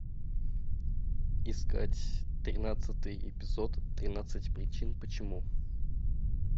искать тринадцатый эпизод тринадцать причин почему